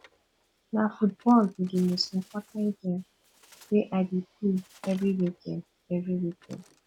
na football be di most important game wey i dey play every weekend every weekend